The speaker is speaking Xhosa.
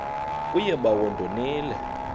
kuye bawo ndonile